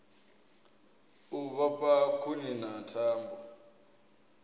u vhofha khuni na thambo